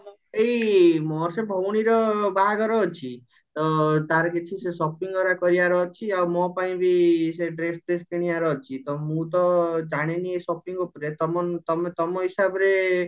ଏଇ ମୋର ସେଇ ଭଉଣର ବାହାଘର ଅଛି ତ ତାର କିଛି ସେ shopping କରିବାର ଅଛି ଆଉ ମୋ ପାଇଁବି ସେ dress ଫ୍ରେସ୍ କିଣିବାର ଅଛି ତ ମୁଁ ତ ଜାଣିନି ଏଇ shopping ଉପରେ ତମ ତମେ ତମ ହିସାବରେ